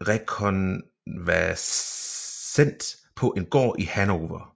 rekonvalsent på en gård i Hannover